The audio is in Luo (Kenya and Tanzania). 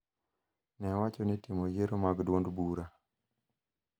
ne owacho ni timo yiero mag duond bura